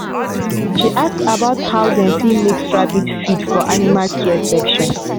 she ask about how dem dey mix rabbit feed for animal care session.